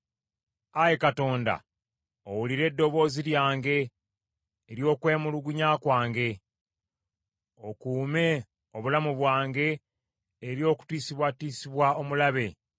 Ayi Katonda, owulire eddoboozi lyange, ery’okwemulugunya kwange; okuume obulamu bwange eri okutiisibwatiisibwa omulabe.